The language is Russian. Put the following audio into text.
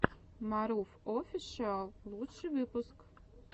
марув офишиал лучший выпуск